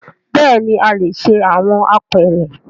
Bẹẹni a le ṣe awọn apeere